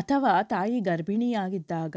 ಅಥವಾ ತಾಯಿ ಗರ್ಭಿಣಿಯಾಗಿದ್ದಾಗ